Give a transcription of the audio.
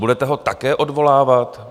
Budete ho také odvolávat?